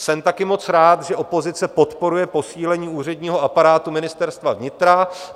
Jsem taky moc rád, že opozice podporuje posílení úředního aparátu Ministerstva vnitra.